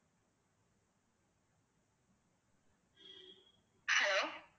hello